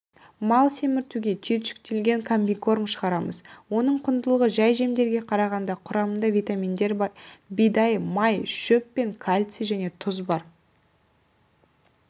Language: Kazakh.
мал семіртуге түйіршіктелген комбикорм шығарамыз оның құндылығы жәй жемдерге қарағанда құрамында витаминдер бидай май шөп пен кальций және тұз бар